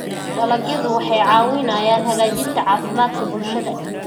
Dalagyadu waxay caawiyaan hagaajinta caafimaadka bulshada.